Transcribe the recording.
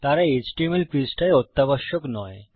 তারা এচটিএমএল পৃষ্ঠায অত্যাবশক নয়